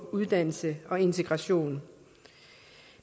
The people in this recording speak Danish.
uddannelse og integration